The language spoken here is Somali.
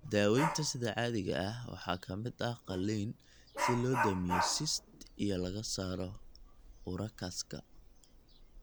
Daawaynta sida caadiga ah waxaa ka mid ah qalliin si loo damiyo cyst iyo laga saaro urachus-ka.